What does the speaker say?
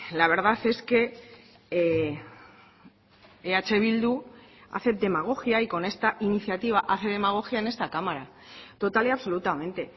la verdad es que eh bildu hace demagogia y con esta iniciativa hace demagogia en esta cámara total y absolutamente